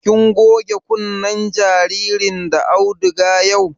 Kin goge kunnen jaririn da auduga yau?